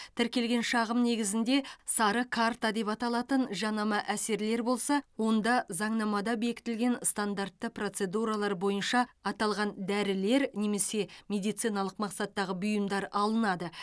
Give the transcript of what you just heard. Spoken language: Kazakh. тіркелген шағым негізінде сары карта деп аталатын жанама әсерлер болса онда заңнамада бекітілген стандартты процедуралар бойынша аталған дәрілер немесе медициналық мақсаттағы бұйымдар алынады